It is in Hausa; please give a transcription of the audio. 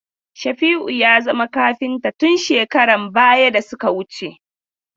Shafi'u ya zama kafinta tun shekaran baya da suka wuce.